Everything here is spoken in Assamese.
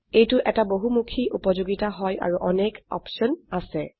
এইটো এটা বহুমুখী উপযোগিতা হয় আৰু অনেক অপশন আছে